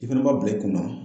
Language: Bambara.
I fana b'a bila i kunna